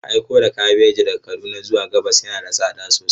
Aiko da kabeji daga Kaduna zuwa gabas yana da tsada sosai.